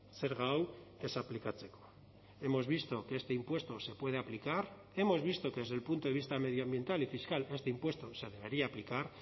zerga hau ez aplikatzeko hemos visto que este impuesto se puede aplicar hemos visto que desde el punto de vista medioambiental y fiscal este impuesto se debería aplicar